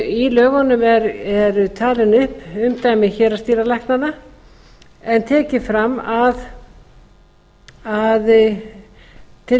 í lögunum eru talin upp umdæmi héraðsdýralæknanna en tekið fram að til